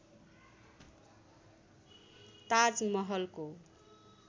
ताज महलको